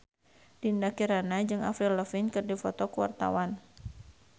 Dinda Kirana jeung Avril Lavigne keur dipoto ku wartawan